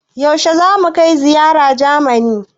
Yaushe za mu kai ziyara Jamani?